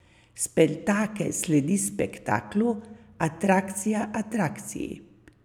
Spektakel sledi spektaklu, atrakcija atrakciji.